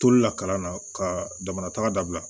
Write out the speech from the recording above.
Tolu la kalan na ka damana tagabila